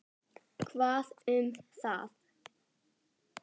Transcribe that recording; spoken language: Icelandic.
Hvað um það.